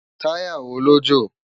Tàyá wó ló jó?